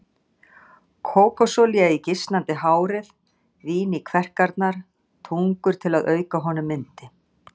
Kókosolía í gisnandi hárið, vín í kverkarnar, tungur til að auka honum yndi.